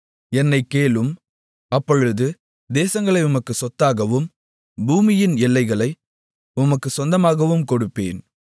என்னைக் கேளும் அப்பொழுது தேசங்களை உமக்குச் சொத்தாகவும் பூமியின் எல்லைகளை உமக்குச் சொந்தமாகவும் கொடுப்பேன்